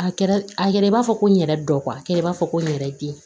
A kɛra a kɛra i b'a fɔ ko n yɛrɛ dɔ a kɛlen b'a fɔ ko n yɛrɛ bi